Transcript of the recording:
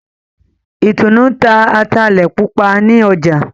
Itunu n'ta Atale Pupa nì ọjà